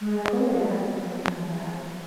Mũrango ũria wakĩtwo na mbaũ.